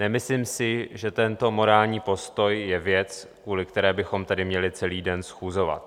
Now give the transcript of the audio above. Nemyslím si, že tento morální postoj je věc, kvůli které bychom tady měli celý den schůzovat.